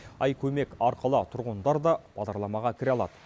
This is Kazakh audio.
ай көмек арқылы тұрғындар да бағдарламаға кіре алады